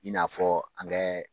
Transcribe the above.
I n'a fɔ an bɛ